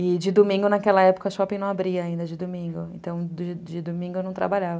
E de domingo, naquela época, o shopping não abria ainda, de domingo, então de domingo eu não trabalhava.